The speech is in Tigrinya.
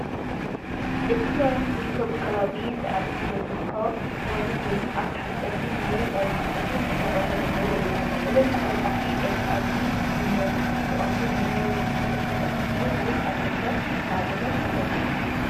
እቲ መብራህቲ ዝርከበሉ ከባቢ ሳዕሪ ዝበዝሖ ከባቢ ኮይኑ ኣብ ታሕቲ ጸሊም ወይ ኣዝዩ ጸሊም ድሕረ ባይታ ዘለዎ እዩ። እዞም ተዓጻጻፊ ኤልኢዲ መብራህቲ ብቐንዱ ንናይ ውሽጢ ገዛ ስልማት ድዮም ወይስ ኣብ ደገ (ንኣብነት ንጀርዲን)?